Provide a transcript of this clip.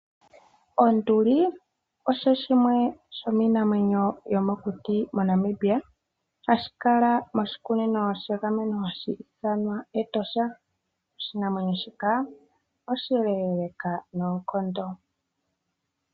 Oonduli osho shimwe shomiinamwenyo yomokuti mo Namibia hashi kala moshikunino sha gamenwa hashi ithanwa etosha oshinamwenyo shika oshileeleka noonkondo.